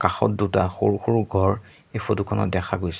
কাষত দুটা সৰু সৰু ঘৰ এই ফটো খনত দেখা গৈছে।